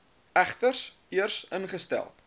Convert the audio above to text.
egter eers ingestel